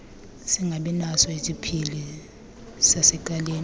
singabinaso isipili sasecaleni